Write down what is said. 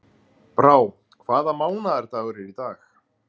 Brá, hvaða mánaðardagur er í dag?